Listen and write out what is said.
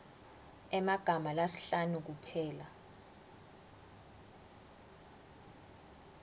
emagama lasihlanu kuphela